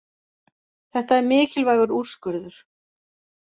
Þetta er mikilvægur úrskurður